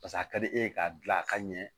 Pas'a ka di e ye k'a dilan a ka ɲɛ